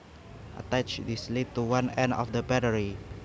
Attach this lead to one end of the battery